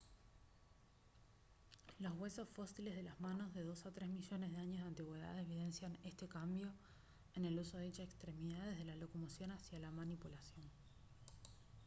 los huesos fósiles de las manos de dos a tres millones de años de antigüedad evidencian este cambio en el uso de dicha extremidad desde la locomoción hacia la manipulación